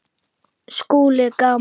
SKÚLI: Gaman!